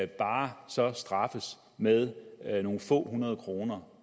bare så straffes med nogle få hundrede kroner